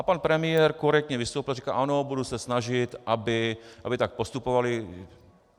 A pan premiér korektně vystoupil a řekl, ano, budu se snažit, aby tak postupovali.